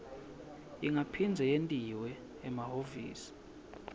ingaphindze yentiwa emahhovisi